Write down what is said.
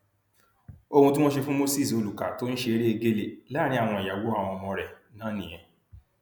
ohun tí wọn ṣe fún moses olùkà tó ń ṣeré egéle láàrin àwọn ìyàwó àwọn ọmọ rẹ náà nìyẹn